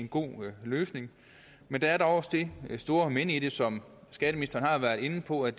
god løsning men der er også det store men i det som skatteministeren har været inde på at